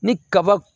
Ni kaba